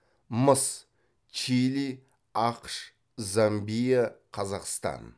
мыс чили ақш замбия қазақстан